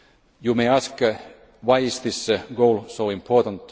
You may ask why this goal is so important.